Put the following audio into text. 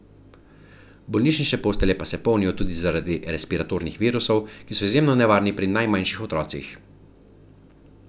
Bolnišnične postelje pa se polnijo tudi zaradi respiratornih virusov, ki so izjemno nevarni pri najmanjših otrocih.